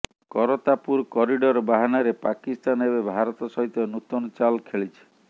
Kartarpur corridor ବାହାନାରେ ପାକିସ୍ତାନ ଏବେ ଭାରତ ସହିତ ନୂତନ ଚାଲ ଖେଳିଛି